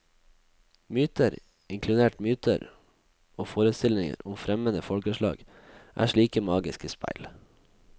Myter, inkludert myter og forestillinger om fremmede folkeslag, er slike magiske speil.